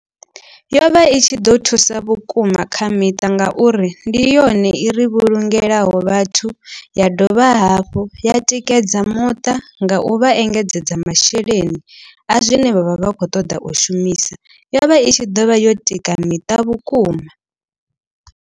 Yo vha i tshi ḓo thusa vhukuma kha miṱa nga uri ndi yone i ro vhulungelaho vhathu. Ya dovha hafhu ya tikedza muṱa nga u vha engedzedza masheleni. A zwine vhavha vha kho ṱoḓa u shumisa yo vha i tshi ḓo vha yo tika miṱa vhukuma.